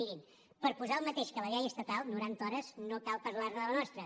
mirin per posar el mateix que la llei estatal noranta hores no cal parlar ne de la nostra